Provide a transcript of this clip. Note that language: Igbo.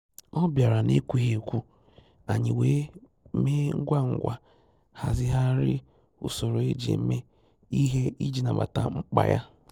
Ọ́ bìàrà n’ékwúghị́ ékwù, ànyị́ wèé mèé ngwá ngwá hàzị́ghàrị́ ùsòrò éjí èmè ìhè ìjí nàbàtà mkpá yá.